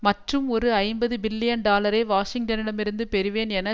மற்றும் ஒரு ஐம்பது பில்லியன் டாலரை வாஷிங்டனிடமிருந்து பெறுவேன் என